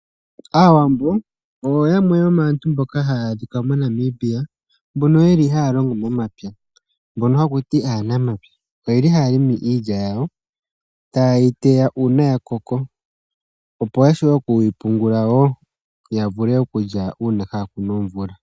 Aawambo oyo yamwe yomaantu mboka hayadhika moNamibia mbono yeli halongo momapya mbono hakuti anamapya, oyeli halongo iilya yawo ota yeyiteya una yakoko opo yavule okuyi pungula wo yavule okulya una kakuna omvula.